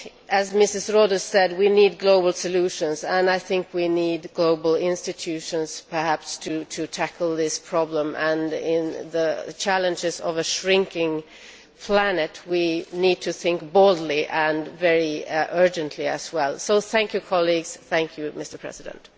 As Mrs Rohde said, we need global solutions and I think we need global institutions, perhaps, to tackle this problem and, given the challenges of a shrinking planet, we need to think boldly and very urgently as well. So thank you, colleagues. Thank you, Mr President.